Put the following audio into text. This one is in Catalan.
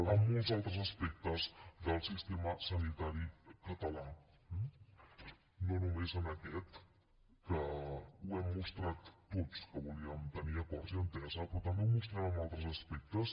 a molts altres aspectes del sistema sanitari català no només en aquest que ho hem mostrat tots que volíem tenir acords i entesa però també ho mostrem en altres aspectes